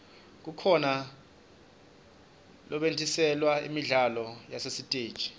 kukhona lobetjgntiselwa imidlalo yasesiteji